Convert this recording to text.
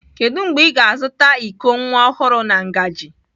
Kedu mgbe ị ga-azụta iko nwa ọhụrụ na ngaji?